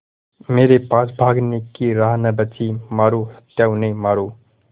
मेरे पास भागने की राह न बची मारो सत्या उन्हें मारो